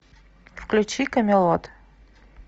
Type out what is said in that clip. включи камелот